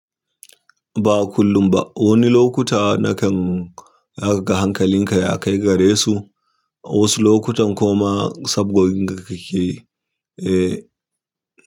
Ba kullum ba. Wani lokuta na kan zaka kaga hankalinka ya kai gare su, wasu lokutan kuma sabgoginka kakeyi, eh.